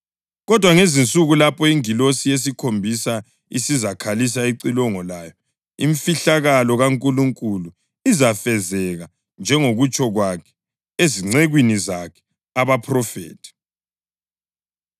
Kodwa ngezinsuku lapho ingilosi yesikhombisa isizakhalisa icilongo layo imfihlakalo kaNkulunkulu izafezeka njengokutsho kwakhe ezincekwini zakhe abaphrofethi.”